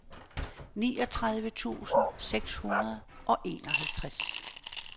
niogtredive tusind seks hundrede og enoghalvtreds